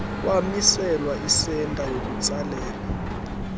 kwamiselwa isenta yokutsalela